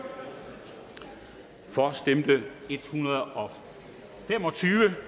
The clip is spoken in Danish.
for stemte en hundrede og fem og tyve